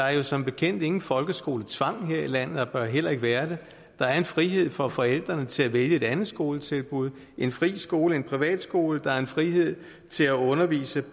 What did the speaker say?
er jo som bekendt ingen folkeskoletvang her i landet og bør heller ikke være det der er en frihed for forældrene til at vælge et andet skoletilbud en fri skole en privat skole der er en frihed til at undervise